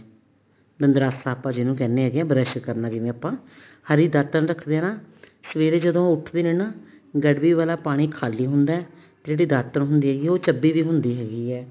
ਦੰਦਰਾਸਾ ਜਿਹਨੂੰ ਆਪਾਂ ਜਿਹਨੂੰ ਕਹਿੰਦੇ ਹੈਗੇ ਆਂ brush ਕਰਨਾ ਜਿਵੇਂ ਆਪਾਂ ਹਰੀ ਦਾਤਣ ਰੱਖਦੇ ਨਾ ਸਵੇਰੇ ਜਦੋਂ ਉਹ ਉੱਠਦੇ ਨੇ ਨਾ ਗੜਵੀ ਵਾਲਾ ਪਾਣੀ ਖਾਲੀ ਹੁੰਦਾ ਜਿਹੜੀ ਦਾਤਣ ਹੈਗੀ ਆ ਉਹ ਚੱਬੀ ਵੀ ਹੁੰਦੀ ਹੈਗੀ ਏ